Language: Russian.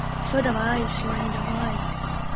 всё давай желание давай